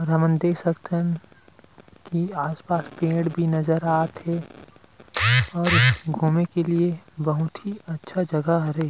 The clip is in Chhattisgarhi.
और हमन देख सकथन आस-पास पेड़ भी नज़र आत हे और घूमे के लिए बहुत ही अच्छा जगह हरे।